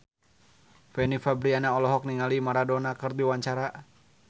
Fanny Fabriana olohok ningali Maradona keur diwawancara